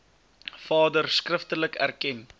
vader skriftelik erken